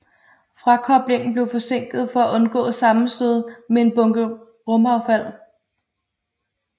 Frakoblingen blev forsinket for at undgå sammenstød med en bunke rumaffald